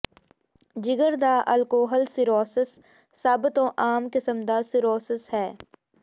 ਜਿਗਰ ਦਾ alcohol cirrhosis ਸਭ ਤੋਂ ਆਮ ਕਿਸਮ ਦਾ ਸੀਰੋਸੋਸ ਹੈ